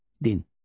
Din.